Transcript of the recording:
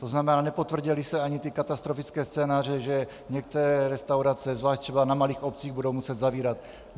To znamená, nepotvrdily se ani ty katastrofické scénáře, že některé restaurace, zvlášť třeba na malých obcích, budou muset zavírat.